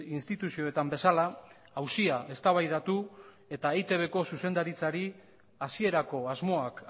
instituzioetan bezala auzia eztabaidatu eta eitbko zuzendaritzari hasierako asmoak